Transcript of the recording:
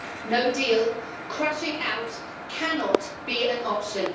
No deal, crashing out, cannot be an option.